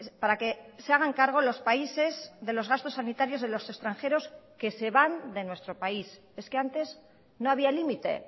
para que se hagan cargo los países de los gastos sanitarios de los extranjeros que se van de nuestro país es que antes no había límite